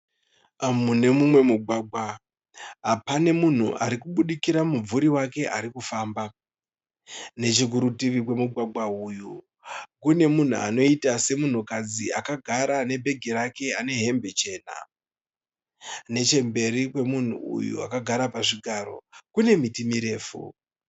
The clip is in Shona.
Mune umwe mugwagwa pane umwe munhu ari kubudikira mumvuri wake. Pane munhukadzi akagara akapfeka hembe chena. Nechekumberi kune miti mirefu.